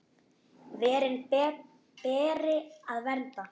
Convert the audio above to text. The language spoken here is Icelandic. Verin beri að vernda.